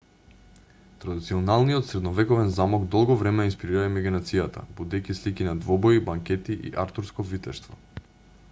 традиционалниот средновековен замок долго време ја инспирира имагинацијата будејќи слики на двобои банкети и артурско витештво